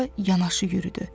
Onunla yanaşı yürüdü.